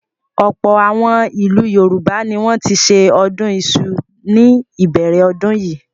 Ọ̀pọ̀ àwọn ìlú Yorùbá ni wọ́n ti ṣe ọdún iṣu ní ìbẹ̀rẹ̀ ọdún yìí.